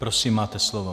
Prosím, máte slovo.